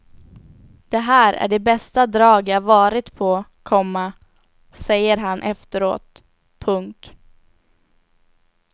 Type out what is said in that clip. Det här är det bästa drag jag varit på, komma säger han efteråt. punkt